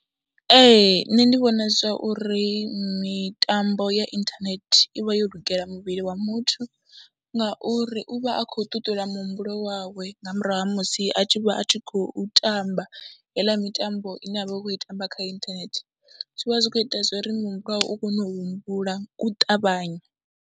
Ee nṋe ndi vhona zwa uri mitambo ya inthanethe i vha yo lugela muvhili wa muthu ngauri u vha a khou ṱuṱula muhumbulo wawe nga murahu ha musi a tshi vha a tshi khou tamba heiḽa mitambo ine a vha a khou i tamba kha inthanethe, zwi vha zwi khou ita zwo ri muhumbulo wawe u kone u humbula u ṱavhanya.